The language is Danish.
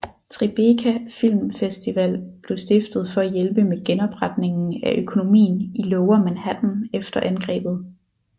Tribeca Film Festival blev stiftet for at hjælpe med genopretningen af økonomien i Lower Manhattan efter angrebet